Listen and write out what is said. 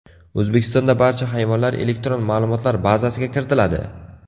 O‘zbekistonda barcha hayvonlar elektron ma’lumotlar bazasiga kiritiladi.